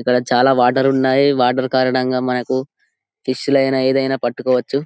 ఇక్కడ చాలా వాటర్ ఉన్నాయి వాటర్ కారణముగా మనకు ఫిష్ లైన ఏదిఐనా పట్టుకోవచ్చు